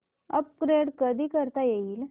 upgrade कधी करता येईल